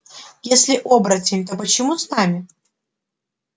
если оборотень то почему с нами